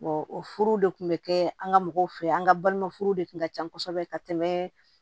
o furu de kun bɛ kɛ an ka mɔgɔw fɛ yen an ka balima furu de kun ka ca kosɛbɛ ka tɛmɛ